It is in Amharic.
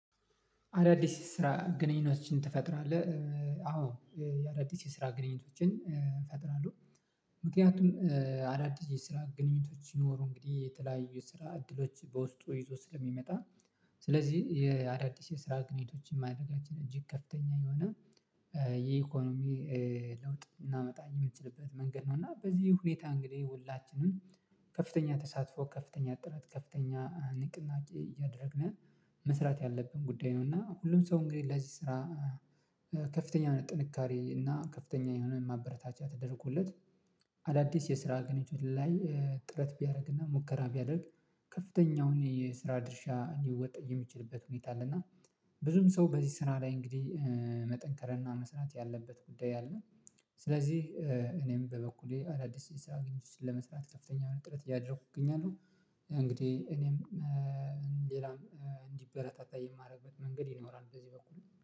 አዳዲስ ስራ ግንኙነቶችን ትፈጥራለህ አዎ የአዳዲስ ስራ ግንኙነቶችን እፈጥራለሁ። ምክንያቱም አዳዲስ የስራ ግንኙነቶች ይኖሩ እንግዲህ የተለያዩ ስራ እድሎች በውስጡ ይዞ ስለሚመጣ። ስለዚህ የአዳዲስ የስራ ግንኙነቶችን ማድረጋችን እጅግ ከፍተኛ የሆነ የኢኮኖሚ ለውጥ ልናመጣ የምትችልበት መንገድ ነው። እና በዚህ ሁኔታ እንግዲህ ሁላችንም ከፍተኛ ተሳትፎ ከፍተኛ ጥረት ከፍተኛ ንቅናቄ እያደረግነ መስራት ያለብን ጉዳይ ነው። እና ሁሉም ሰው እንግዲህ ለዚህ ስራ። ከፍተኛ የሆነ ጥንካሬ እና ከፍተኛ የሆነ ማበረታቻ ተደርጎለት። አዳዲስ የስራ ግንኙነት ላይ ጥረት ቢያደርግና ሙከራ ቢያደርግ ከፍተኛውን የስራ ድርሻ ሊወጣ የሚችልበት ሁኔታ አለና። ብዙም ሰው በዚህ ስራ ላይ እንግዲህ መጠንከርና መስራት ያለበት ጉዳይ አለ። ስለዚህ እኔም በበኩሌ አዳዲስ ስራ ግንኙነቶችን ለመስራት ከፍተኛ ጥረት እያደረኩ እገኛለሁ። እንግዲህ እኔም ሌላም እንዲበረታታ የማደርግበት መንገድ ይኖራል በዚህ በኩል